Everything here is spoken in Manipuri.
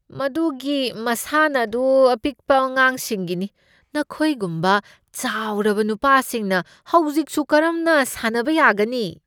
ꯃꯗꯨꯒꯤ ꯃꯁꯥꯟꯅ ꯑꯗꯨ ꯑꯄꯤꯛꯄ ꯑꯉꯥꯡꯁꯤꯡꯒꯤꯅꯤ꯫ ꯅꯈꯣꯏꯒꯨꯝꯕ ꯆꯥꯎꯔꯕ ꯅꯨꯄꯥꯁꯤꯡꯅ ꯍꯧꯖꯤꯛꯁꯨ ꯀꯔꯝꯅ ꯁꯥꯟꯅꯕ ꯌꯥꯒꯅꯤ?